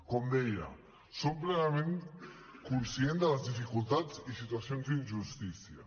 com deia som plenament conscients de les dificultats i situacions d’injustícia